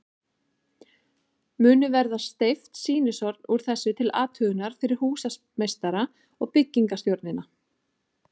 Munu verða steypt sýnishorn úr þessu til athugunar fyrir húsameistara og byggingarstjórnina.